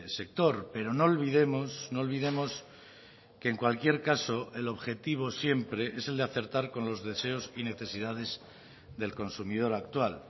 sector pero no olvidemos no olvidemos que en cualquier caso el objetivo siempre es el de acertar con los deseos y necesidades del consumidor actual